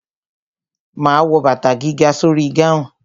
Ma wo bàtà gíga sórí gáhùn.